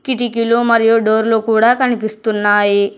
కిటికీలు మరియు డోర్లు కూడ కనిపిస్తున్నాయి.